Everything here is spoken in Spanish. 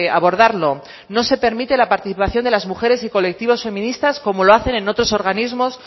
abordarlo no se permite la participación de las mujeres y colectivos feministas como lo hacen en otros organismos